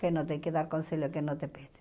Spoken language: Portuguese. Que não tem que dar conselho, a quem não te pede.